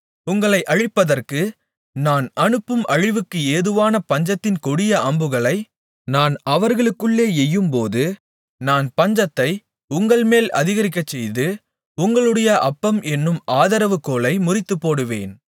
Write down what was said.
உங்களை அழிப்பதற்கு நான் அனுப்பும் அழிவுக்கு ஏதுவான பஞ்சத்தின் கொடிய அம்புகளை நான் அவர்களுக்குள்ளே எய்யும்போது நான் பஞ்சத்தை உங்கள்மேல் அதிகரிக்கச்செய்து உங்களுடைய அப்பம் என்னும் ஆதரவுகோலை முறித்துப்போடுவேன்